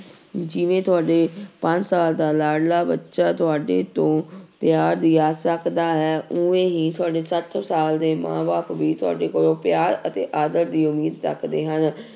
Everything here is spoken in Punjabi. ਜਿਵੇਂ ਤੁਹਾਡੇ ਪੰਜ ਸਾਲ ਦਾ ਲਾਡਲਾ ਬੱਚਾ ਤੁਹਾਡੇ ਤੋਂ ਪਿਆਰ ਦੀ ਆਸਾ ਰੱਖਦਾ ਹੈ ਉਵੇਂ ਹੀ ਤੁਹਾਡੇ ਸੱਤ ਸਾਲ ਦੇ ਮਾਂ ਬਾਪ ਵੀ ਤੁਹਾਡੇ ਕੋਲੋਂ ਪਿਆਰ ਅਤੇ ਆਦਰ ਦੀ ਉਮੀਦ ਰੱਖਦੇ ਹਨ